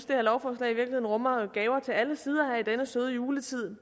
det her lovforslag i virkeligheden rummer gaver til alle sider i denne søde juletid